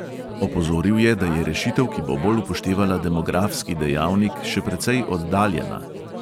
Opozoril je, da je rešitev, ki bo bolj upoštevala demografski dejavnik, še precej oddaljena.